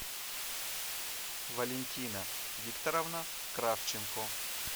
валентина викторовна кравченко